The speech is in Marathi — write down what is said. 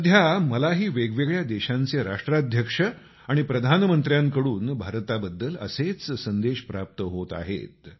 सध्या मलाही वेगवेगळ्या देशांचे राष्ट्राध्यक्ष आणि प्रधानमंत्र्याकडून भारताबद्दल असेच संदेश प्राप्त होत आहेत